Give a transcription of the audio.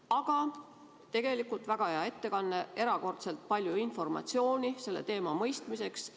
Aga tegelikult oli väga hea ettekanne, saime erakordselt palju informatsiooni selle teema mõistmiseks.